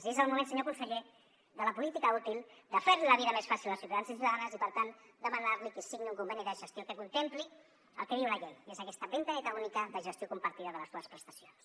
i és el moment senyor conseller de la política útil de fer li la vida més fàcil als ciutadans i ciutadanes i per tant demanar li que signi un conveni de gestió que contempli el que diu la llei que és aquesta finestreta única de gestió compartida de les dues prestacions